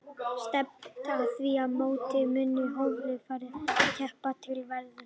Stefnt er að því að í mótinu muni hóflega færir knattspyrnumenn keppa til verðlauna.